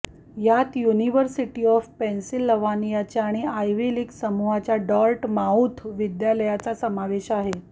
यात university of Pennsylvania आणि Ivy League समूहाच्या डॉर्ट माऊथ महाविद्यालयाचा समावेश आहे